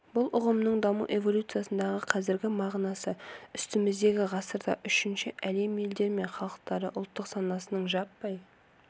бұл ұғымның даму эволюциясындағы қазіргі мағынасы үстіміздегі ғасырда үшінші әлем елдері мен халықтары ұлттық санасының жаппай